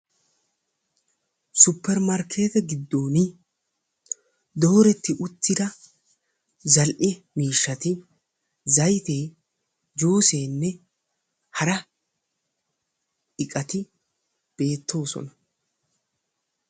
supermarkeete giddoon dooretti uttida zal"e miishshatti zaytee juuseenne hara iqati beettoosona.